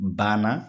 Banna